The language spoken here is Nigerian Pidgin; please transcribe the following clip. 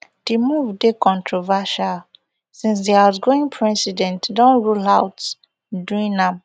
di move dey controversial since di outgoing president don rule out doing am